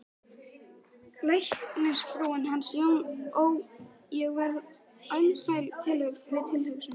Læknisfrúin hans Jónasar, ó, ég verð alsæl við tilhugsunina